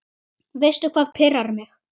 Veistu hvað pirrar mig?